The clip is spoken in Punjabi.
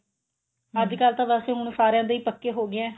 ਅੱਜ ਕੱਲ ਤਾਂ ਵੈਸੇ ਹੁਣ ਸਾਰਿਆ ਦੇ ਪੱਕੇ ਹੋ ਗਏ ਨੇ